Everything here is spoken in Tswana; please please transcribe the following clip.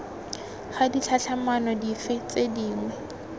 ga ditlhatlhamano dife tse dingwe